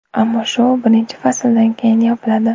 Ammo shou birinchi fasldan keyin yopiladi.